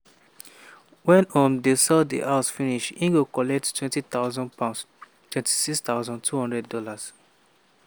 wen um dem sell di house finish e go collect £20000 ($26200)